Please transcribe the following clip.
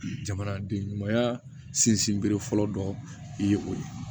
Jamanaden ɲumanya sinsinbere fɔlɔ dɔ ye o ye